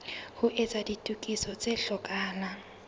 ho etsa ditokiso tse hlokahalang